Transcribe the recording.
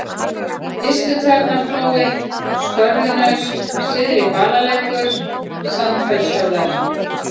Ystutjarnarflói, Skörðunaust, Syðri-Balalækur, Sandfellshöfðar